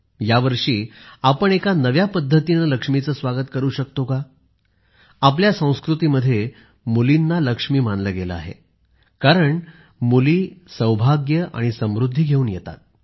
यावर्षी आपण एका नव्या पद्धतीने लक्ष्मीचे स्वागत करू शकतो का आपल्या संस्कृतीमध्ये मुलींना लक्ष्मी मानले गेले आहे कारण मुली सौभाग्य आणि समृद्धी घेऊन येतात